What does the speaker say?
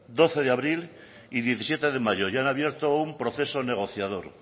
doce de abril y diecisiete de mayo y han abierto un proceso negociador